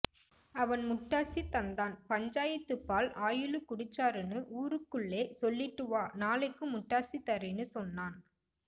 அவன் முட்டாசி தந்தான் பஞ்சாயத்து பால்ஆயிலு குடிச்சாருன்னு ஊருக்குள்ளே சொல்லிட்டு வா நாளைக்கும் முட்டாசி தாறேன்னு சொன்னான்